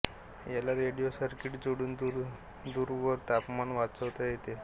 याला radio circuit जोडून दूरवरून तापमान वाचता येते